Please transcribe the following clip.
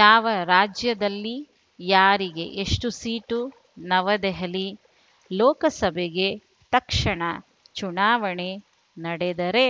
ಯಾವ ರಾಜ್ಯದಲ್ಲಿ ಯಾರಿಗೆ ಎಷ್ಟುಸೀಟು ನವದೆಹಲಿ ಲೋಕಸಭೆಗೆ ತಕ್ಷಣ ಚುನಾವಣೆ ನಡೆದರೆ